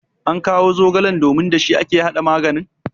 ankawo zogalen domin da shi ake hada maganin?